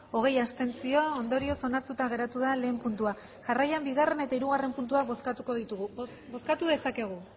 hogei abstentzio ondorioz onartuta geratu da lehen puntua jarraian bigarren eta hirugarren puntuak bozkatuko ditugu bozkatu dezakegu